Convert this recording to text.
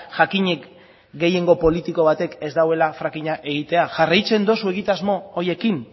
jakinik gehiengo politiko batek ez duela fracking a egitea jarraitzen dozu egitasmo horiekin